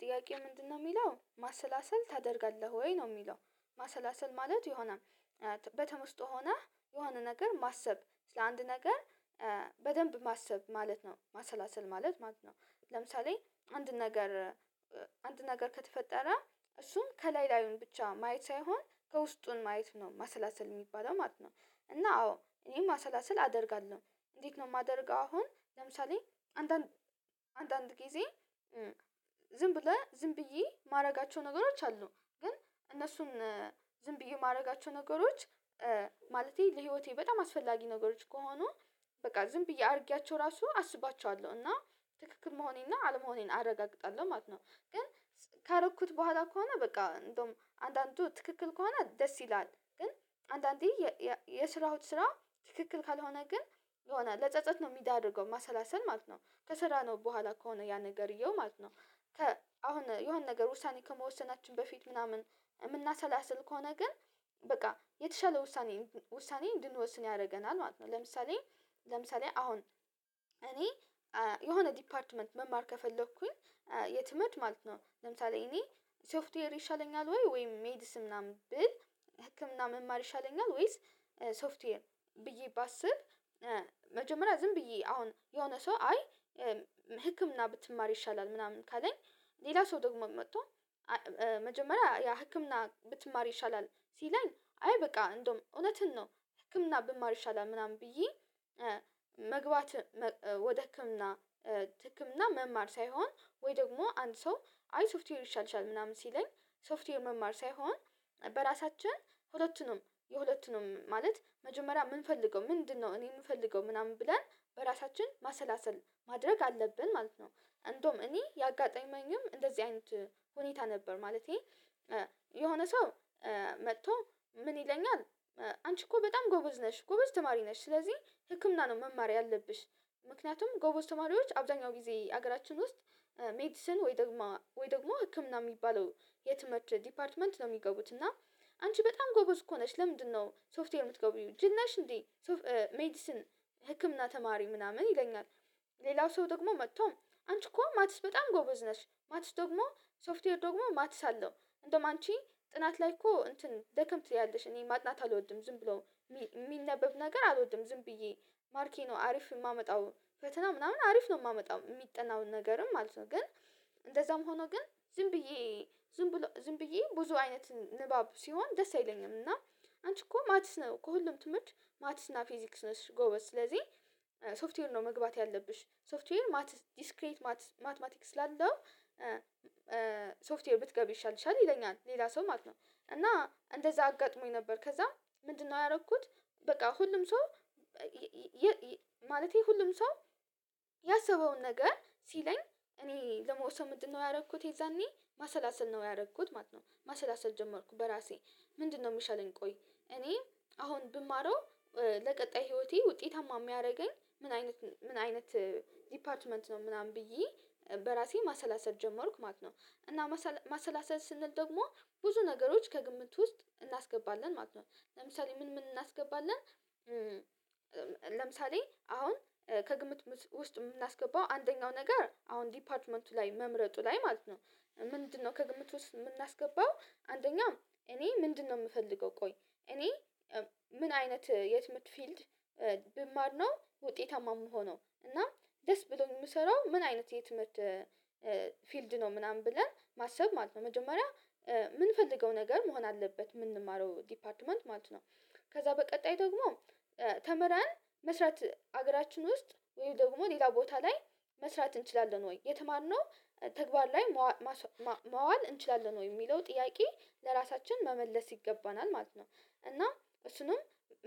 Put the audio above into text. ጥያቄ ምንድነው የሚለው ማሰላሰል ታደርጋለህ ወይ ነው የሚለው? ማሰላሰል ማለት የሆነ በተመስጦ ሆነህ የሆነ ነገር ማሰብ ስለ አንድ ነገር በደንብ ማሰብ ማለት ነው ማሰላሰል ማለት ማለት ነው ለምሳሌ አንድ ነገር አንድ ነገር ከተፈጠረ እሱም ከላይ ላዩን ብቻ ማየት ሳይሆን ከውስጡን ማየት ነው ማሰላሰል የሚባለው ማለት ነው። እና አዎ እኔም ማሰላሰል አደርጋለሁ እንዴት ነው የማደርገው አሁን ለምሳሌ አንዳንድ አንዳንድ ጊዜ ዝም ብለህ ዝም ብዬ የማደርጋቸው ነገሮች አሉ ግን እነሱን ዝም ብዬ የማደርጋቸው ነገሮች ማለቴ ለህይወቴ በጣም አስፈላጊ ነገሮች ከሆኑ በቃ ዝም ብዬ አድርጊያቸው ራሱ አስባቸዋለሁ እና ትክክል መሆኔና አለመሆኔን አረጋግጣለሁ ማለት ነው። ግን ካረኩት በኋላ ከሆነ በቃ እንደውም አንዳንዱ ትክክል ከሆነ ደስ ይላል ግን አንዳንዴ የሰራሁት ስራ ትክክል ካልሆነ ግን የሆነ ለጸጸት ነው ሚዳርገው ማሰላሰል ማለት ነው ከሰራነው በኋላ ከሆነ ያ ነገርየው ማለት ነው። አሁን የሆነ ነገር ውሳኔ ከመወሰናችን በፊት ምናምን የምናሰላስል ከሆነ ግን በቃ የተሻለ ውሳኔ ውሳኔ እንድንወስን ያደርገናል ማለት ነው። ለምሳሌ ለምሳሌ አሁን እኔ የሆነ ዲፓርትመንት መማር ከፈለኩኝ የትምህርት ማለት ነው ለምሳሌ እኔ ሶፍትዌር ይሻለኛል ወይ ሜዲስን ምናምን ብል ህክምና መማር ይሻለኛል ወይስ ሶፍትዌር ብዬ ባስብ መጀመሪያ ዝም ብዬ አሁን የሆነ ሰው አይ ህክምና ብትማሪ ይሻላል ምናምን ካለኝ ሌላ ሰው ደግሞ መጥቶ መጀመሪያ ያ ህክምና ብትማር ይሻላል ሲለኝ አይ በቃ እንደውም እውነትን ነው። ህክምና ብማር ይሻላል ምናምን ብዬ መግባት ወደ ህክምና ህክምና መማር ሳይሆን ወይ ደግሞ አንድ ሰው አይ ሶፍትዌር ይሻልሻል ምናምን ሲለኝ ሶፍትዌር መማር ሳይሆን በራሳችን ሁለቱንም የሁለቱንም ማለት መጀመሪያ የምንፈልገው ምንድነው? እኔ የምፈልገው ምናምን ብለን በራሳችን ማሰላሰል ማድረግ አለብን ማለት ነው። እንደውም እኔ ያጋጠመኝም እንደዚህ አይነት ሁኔታ ነበር። ማለቴ የሆነ ሰው መጥቶ ምን ይለኛል? አንቺ እኮ በጣም ጎበዝ ነሽ ጎበዝ ተማሪ ነሽ ስለዚህ ህክምና ነው መማር ያለብሽ። ምክንያቱም ጎበዝ ተማሪዎች አብዛኛው ጊዜ ሀገራችን ውስጥ ሜዲሰን ወይ ደግሞ ወይ ደግሞ ህክምና የሚባለው የትምህርት ዲፓርትመንት ነው የሚገቡት እና አንቺ በጣም ጎበስ እኮ ነሽ ለምንድነው ሶፍትዌር የምትገቢው ጅል ነሽ እንዴ? ሜዲሲን ህክምና ተማሪ ምናምን ይለኛል። ሌላው ሰው ደግሞ መጥቶም አንቺ እኮ ማትስ በጣም ጎበዝ ነሽ ማትስ ደግሞ ሶፍትዌር ደግሞ ማትስ አለው እንደማንቺ ጥናት ላይ እኮ እንትን ደከም ትያለሽ እኔ ማጥናት አልወድም ዝም ብሎ የሚነበብ ነገር አልወድም ዝም ብዬ ማርኬ ነው አሪፍ የማመጣው ፈተና ምናምን አሪፍ ነው የማመጣው የሚጠናውን ነገርም ማለት ነው። ግን እንደዛም ሆኖ ግን ዝም ብየ ዝም ብዬ ዝም ብዬ ብዙ አይነት ንባብ ሲሆን ደስ አይለኝም እና አንቺ እኮ ማቲስ ነው ከሁሉም ትምህርት ማቲስ እና ፊዚክስ ነሽ ጎበዝ ስለዚህ ሶፍትዌር ነው መግባት ያለብሽ ሶፍትዌር ዲስክሬት ማትማቲክ ስላለው ሶፍትዌር ብትገቢ ይሻልሻል ይለኛል ሌላ ሰው ማለት ነው። እና እንደዛ አጋጥሞኝ ነበር ከዛም ምንድነው ያረኩት? በቃ ሁሉም ሰው ማለቴ ሁሉም ሰው ያሰበውን ነገር ሲለኝ እኔ ለመውሰው ምንድነው ያደረኩት የዛኔ ማሰላሰል ነው ያደረኩት ማለት ነው። ማሰላሰል ጀመርኩ በራሴ ምንድነው? ሚሻልን ቆይ እኔ አሁን ብማረው ለቀጣይ ህይወቴ ውጤታማ የሚያደርገኝ ምን አይነት ምን አይነት ዲፓርትመንት ነው ምናምን ብዬ በራሴ ማሰላሰል ጀመርኩ ማለት ነው። እና ማሰላሰል ስንል ደግሞ ብዙ ነገሮች ከግምት ውስጥ እናስገባለን ማለት ነው። ለምሳሌ ምን ምን እናስገባለን? ለምሳሌ አሁን ከግምት ውስጥ የምናስገባው አንደኛው ነገር አሁን ዲፓርትመንቱ ላይ መምረጡ ላይ ማለት ነው። ምንድነው ከግምት ውስጥ የምናስገባው አንደኛ እኔ ምንድነው የምፈልገው? ቆይ እኔ ምን አይነት የት ምህርት ፊልድ ብማር ነው። ውጤታማ የምሆነው እና ደስ ብሎኝ የምሰራው ምን አይነት የትምህርት ፊልድ ነው ምናምን ብለን ማሰብ ማለት ነው። መጀመሪያ የምንፈልገው ነገር መሆን አለበት የምንማረው ዲፓርትመንት ማለት ነው። ከዛ በቀጣይ ደግሞ ተምረን መስራት ሀገራችን ውስጥ ወይም ደግሞ ሌላ ቦታ ላይ መስራት እንችላለን ወይ የተማርነው ተግባር ላይ ማዋል እንችላለን ወይ የሚለው? ጥያቄ ለራሳችን መመለስ ይገባናል ማለት ነው። እና እሱንም